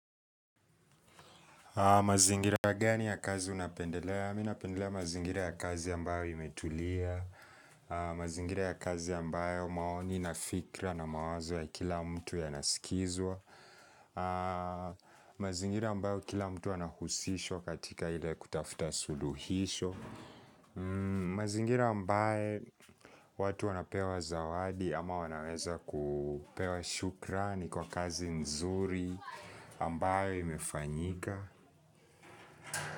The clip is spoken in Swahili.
Mazingira gani ya kazi unapendelea? Mi napendelea mazingira ya kazi ambayo imetulia, mazingira ya kazi ambayo maoni na fikra na mawazo ya kila mtu yanasikizwa, mazingira ambayo kila mtu anahusisho katika ile kutafuta suluhisho, mazingira ambaye watu wanapewa zawadi ama wanaweza kupewa shukrani kwa kazi nzuri ambayo imefanyika.